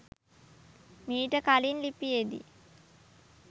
මීට කලින් ලිපියෙදී